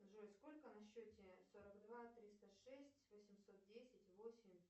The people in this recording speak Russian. джой сколько на счете сорок два триста шесть восемьсот десять восемь